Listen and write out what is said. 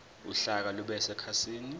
uhlaka lube sekhasini